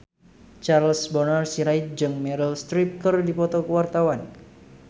Charles Bonar Sirait jeung Meryl Streep keur dipoto ku wartawan